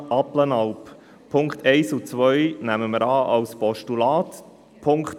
Die Punkte 1 und 2 nehmen wir als Postulat an.